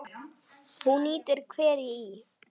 Hún nýtir hveri í